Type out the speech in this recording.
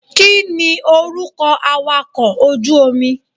Kíni orúkọ awàkọ̀ ojú omi?